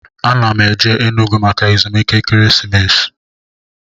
A na m eje Enugwu maka ezumike ekeresimesi